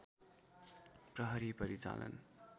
प्रहरी परिचालन